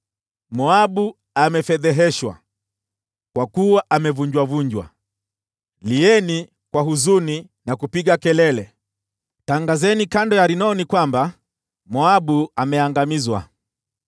Moabu amefedheheshwa, kwa kuwa amevunjavunjwa. Lieni kwa huzuni na kupiga kelele! Tangazeni kando ya Arnoni kwamba Moabu ameangamizwa.